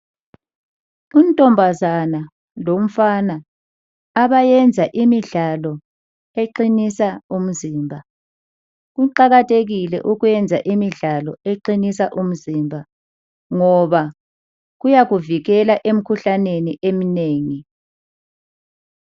Untombazana lomfana abayenza imidlalo eqinisa umzimba. Kuqakathekile ukwenza imidlalo eqinisa umzimba ngoba kuyakuvikela emikhuhlaneni eminengi.